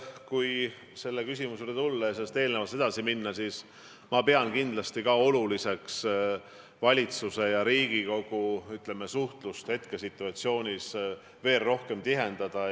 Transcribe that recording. Kui selle küsimuse juurde tulla ja eelmisest küsimusest edasi minna, siis ma pean kindlasti oluliseks valitsuse ja Riigikogu suhtlust hetkesituatsioonis veel rohkem tihendada.